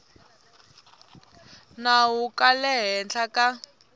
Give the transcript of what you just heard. nawu ka le hansi ka